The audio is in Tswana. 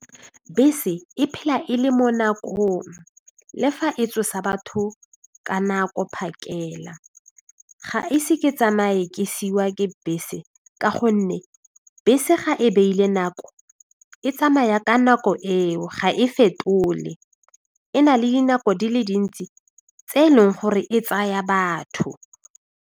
Bese e phela e le mo nakong le fa e tsosa batho ka nako phakela, ga ise ke tsamaye ke siiwa ke bese ka gonne bese ga e beile nako e tsamaya ka nako eo ga e fetole e na le dinako di le dintsi tse e leng gore e tsaya batho.